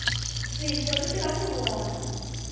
tihlo ri tirha ku vona